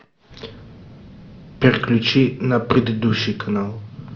переключи на предыдущий канал